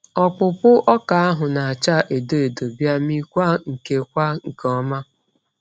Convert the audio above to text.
Ọkpụpụ ọka ahụ n'acha edo edo bia mị kwa nke kwa nke ọma.